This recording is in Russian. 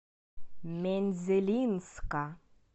мензелинска